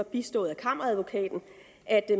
bistået af kammeradvokaten at